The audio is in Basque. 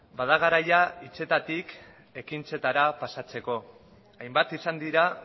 bada garaia hitzetatik ekintzetara pasatzeko hainbat izan dira